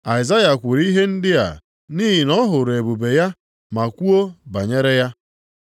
Aịzaya kwuru ihe ndị a nʼihi na ọ hụrụ ebube ya, ma kwuo banyere ya.